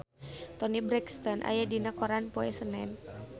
Toni Brexton aya dina koran poe Senen